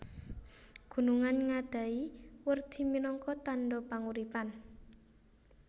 Gunungan ngadhahi werdi minangka tandha panguripan